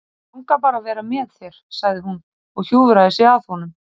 Mig langar bara að vera með þér, sagði hún og hjúfraði sig að honum.